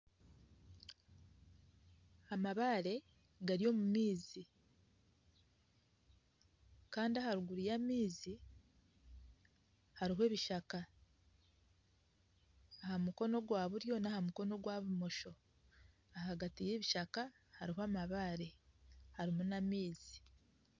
Amabaare gari omumaizi Kandi aharuguru y'amaizi hariho ebishaka ahamukono gwa buryo nahamukono gwa bumosho ahagati y'ebishaka harimu amabaare harimu nana amaizi.